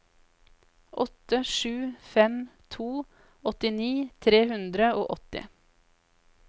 åtte sju fem to åttini tre hundre og åtti